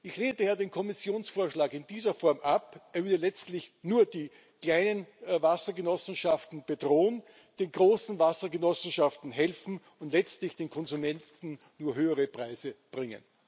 Ich lehne daher den Kommissionsvorschlag in dieser Form ab. Er würde letztlich nur die kleinen Wassergenossenschaften bedrohen, den großen Wassergenossenschaften helfen und letztlich den Konsumenten nur höhere Preise bringen.